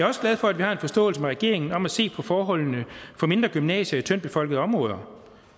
også glad for at vi har en forståelse med regeringen om at se på forholdene for mindre gymnasier i tyndtbefolkede områder